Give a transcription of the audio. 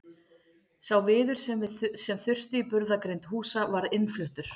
Sá viður sem þurfti í burðargrind húsa var innfluttur.